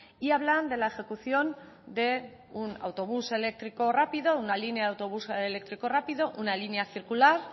y hablan de la ejecución de un autobús eléctrico rápido una línea de autobús eléctrico rápido una línea circular